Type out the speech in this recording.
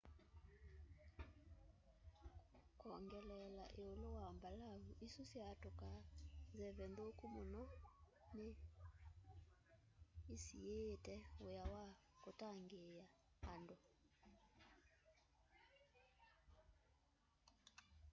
kwongeleela ĩũlũ wa mbalavu isu syatũkaa nzeve nthũku mũno nĩ ĩsiĩĩte wĩa wa ũtangĩĩa andũ